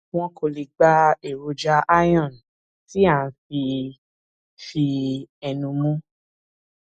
wọn kò lè gba èròjà iron tí à ń fi fi ẹnu mu